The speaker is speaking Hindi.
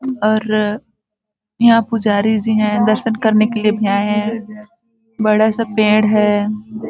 और यहाँ पुजारी जी है दर्शन करने के लिए भी आये है बड़ा सा पेड़ हैं।